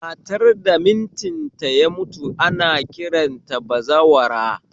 Matar da mitin ta ya mutu ana kiranta da bazawara